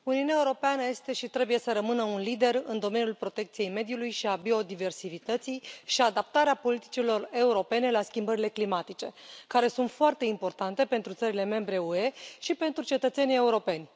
Domnule președinte, Uniunea Europeană este și trebuie să rămână un lider în domeniul protecției mediului și a biodiversității și al adaptării politicilor europene la schimbările climatice, care sunt foarte importante pentru țările membre ale UE și pentru cetățenii europeni.